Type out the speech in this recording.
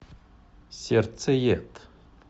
сердцеед